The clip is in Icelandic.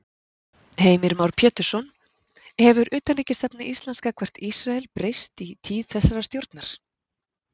Heimir Már Pétursson: Hefur utanríkisstefna Íslands gagnvart Ísrael breyst í tíð þessarar stjórnar?